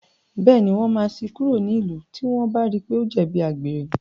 Bẹ́ẹ̀ní, wọ́n máa ṣí i kúrò nílùú tí wọ́n bá rí i pé ó jẹ̀bi àgbèrè.